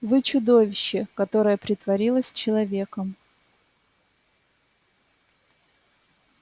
вы чудовище которое притворилось человеком